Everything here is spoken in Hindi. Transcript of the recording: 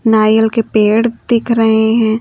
नारियल के पेड़ दिख रहे हैं।